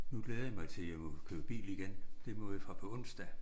Nu glæder jeg mig jeg må køre bil igen det må jeg fra på onsdag